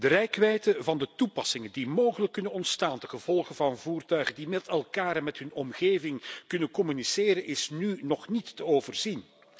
De reikwijdte van de toepassingen die mogelijk ontstaan ten gevolge van voertuigen die met elkaar en met hun omgeving kunnen communiceren, is nu nog niet te overzien.